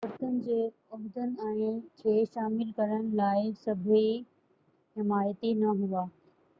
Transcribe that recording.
عورتن جي عهدن کي شامل ڪرڻ لاءِ سڀئي حمايتي نہ هئا